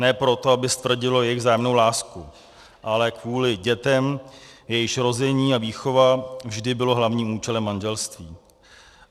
Ne proto, aby stvrdilo jejich vzájemnou lásku, ale kvůli dětem, jejichž rození a výchova vždy bylo hlavním účelem manželství.